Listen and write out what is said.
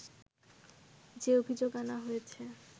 যে অভিযোগ আনা হয়েছে